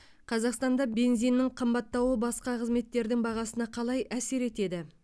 қазақстанда бензиннің қымбаттауы басқа қызметтердің бағасына қалай әсер етеді